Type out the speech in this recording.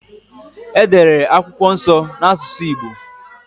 E dere akwụkwọ nso n’asusụ Igbo